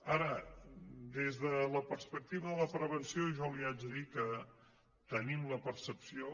ara des de la perspectiva de la prevenció jo li haig de dir que tenim la percepció